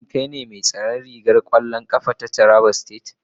Shin kai ne mai tsaron ragar kwallon kafa na jihar Taraba?